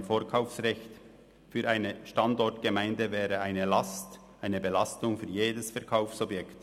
Ein Vorkaufsrecht für eine Standortgemeinde wäre eine Belastung für jedes Verkaufsobjekt.